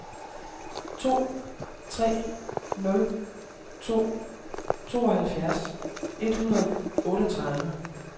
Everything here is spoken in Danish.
to tre nul to tooghalvfjerds et hundrede og otteogtredive